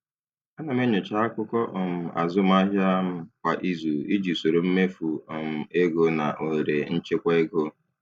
Ana m enyocha akụkọ um azụmahịa m kwa izu iji soro mmefu um ego na ohere nchekwa ego.